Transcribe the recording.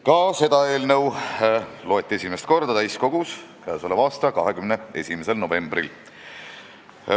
Ka seda eelnõu loeti esimest korda täiskogus k.a 21. novembril.